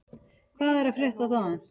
Hvað er að frétta þaðan?